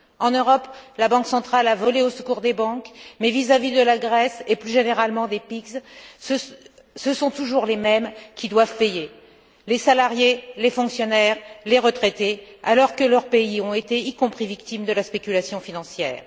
En Europe, la Banque centrale a volé au secours des banques mais, vis à vis de la Grèce et plus généralement des PIGS, ce sont toujours les mêmes qui doivent payer, à savoir les salariés, les fonctionnaires et les retraités, alors que leurs pays ont été également victimes de la spéculation financière.